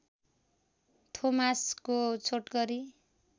थोमासको छोटकरी